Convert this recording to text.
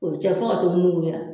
O cɛ fo ka t'o nuguya